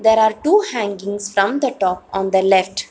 There are two hangings from the top on the left.